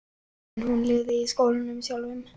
En hún lifði í skólanum sjálfum.